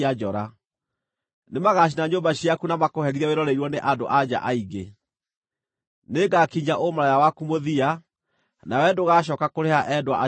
Nĩmagacina nyũmba ciaku na makũherithie wĩroreirwo nĩ andũ-a-nja aingĩ. Nĩngakinyia ũmaraya waku mũthia, nawe ndũgacooka kũrĩha endwa acio aku.